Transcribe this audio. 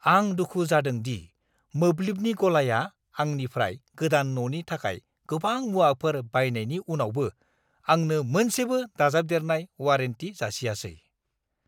आं दुखु जादों दि मोब्लिबनि गलाया आंनिफ्राय गोदान न'नि थाखाय गोबां मुवाफोर बायनायनि उनावबो आंनो मोनसेबो दाजाबदेरनाय वारेन्टि जासियाखै!